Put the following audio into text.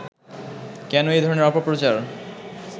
কেন এই ধরনের অপপ্রচার